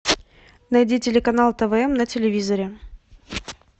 найди телеканал тв на телевизоре